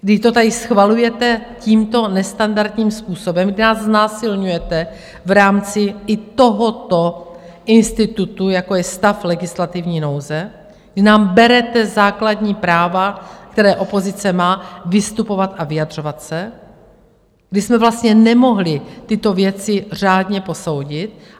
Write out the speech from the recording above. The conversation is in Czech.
kdy to tady schvalujete tímto nestandardním způsobem, kdy nás znásilňujete v rámci i tohoto institutu, jako je stav legislativní nouze, kdy nám berete základní práva, které opozice má, vystupovat a vyjadřovat se, kdy jsme vlastně nemohli tyto věci řádně posoudit.